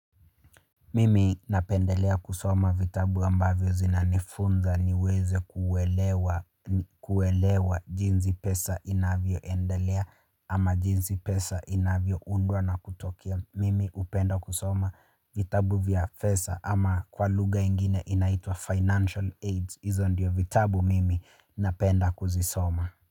Mimi napendelea kusoma vitabu ambavyo zinanifunza niweze kuelewa jinsi pesa inavyoendelea ama jinsi pesa inavyoundwa na kutokea. Mimi hupenda kusoma vitabu vya pesa ama kwa lugha ingine inaitwa financial aids. Hizo ndiyo vitabu mimi napenda kuzisoma.